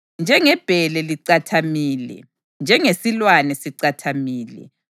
Njengebhele licathamile, njengesilwane sicatshile,